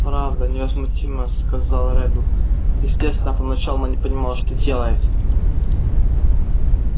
правда невозмутимо сказал реддл естественно поначалу она не понимала что делает